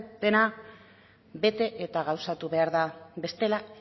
dena bete eta gauzatu behar da bestela